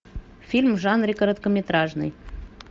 фильм в жанре короткометражный